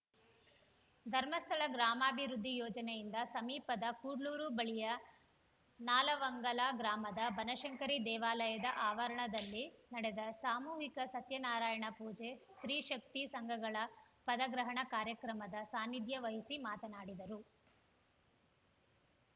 ಧರ್ಮಸ್ಥಳ ಗ್ರಾಮಾಭಿವೃದ್ದಿ ಯೋಜನೆಯಿಂದ ಸಮೀಪದ ಕುಡ್ಲೂರು ಬಳಿಯ ನಾಲವಂಗಲ ಗ್ರಾಮದ ಬನಶಂಕರಿ ದೇವಾಲಯದ ಆವರಣದಲ್ಲಿ ನಡೆದ ಸಾಮೂಹಿಕ ಸತ್ಯನಾರಾಯಣ ಪೂಜೆ ಸ್ತ್ರೀಶಕ್ತಿ ಸಂಘಗಳ ಪದಗ್ರಹಣ ಕಾರ್ಯಕ್ರಮದ ಸಾನಿಧ್ಯ ವಹಿಸಿ ಮಾತನಾಡಿದರು